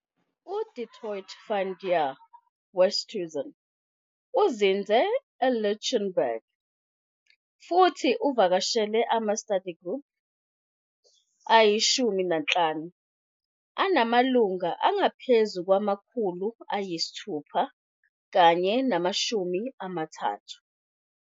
U-Du Toit van der Westhuizen uzinze eLichtenburg futhi uvakashela ama-study group ayi-15 anamalungu angaphezulu kwama-630.